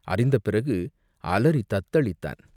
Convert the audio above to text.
அறிந்த பிறகு அலறித் தத்தளித்தான்.